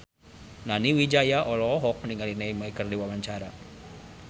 Nani Wijaya olohok ningali Neymar keur diwawancara